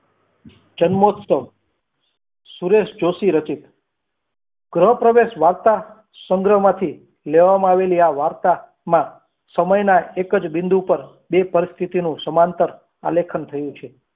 જન્મોત્સવ સુરેશ જોશી રચિત ગ્રહ પ્રવેશ વાંચતા સંગ્રહ માંથી લેવામાં આવેલી આ વાર્તા માં સમયના એક જ બિંદુ પર બે પરિસ્થિતિનું સમાંતર આલેખન થયું છે.